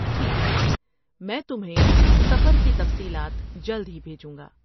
ٹھیک ہے، میں تمہیں سفر کی تفصیلات جلد ہی بھیجوں گا۔